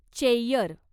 Cheyyar